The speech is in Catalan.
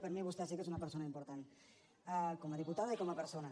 per mi vostè sí que és una persona important com a diputada i com a persona